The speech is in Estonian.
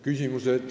Küsimused.